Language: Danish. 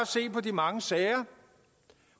se på de mange sager